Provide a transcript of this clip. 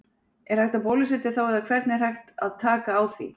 Er hægt að bólusetja þá eða hvernig er hægt áð taka á því?